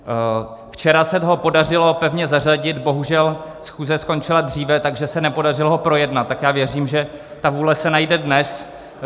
Včera se ho podařilo pevně zařadit, bohužel schůze skončila dříve, takže se nepodařilo ho projednat, tak já věřím, že ta vůle se najde dnes.